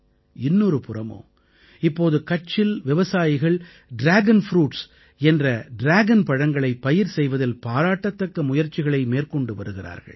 இன்னொரு புறமோ இப்போது கட்சில் விவசாயிகள் டிராகன் ப்ரூட்ஸ் என்ற ட்ராகன் பழங்களைப் பயிர் செய்வதில் பாராட்டத்தக்க முயற்சிகளை மேற்கொண்டு வருகிறார்கள்